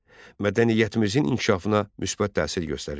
Mədəniyyətimizin inkişafına müsbət təsir göstərirdi.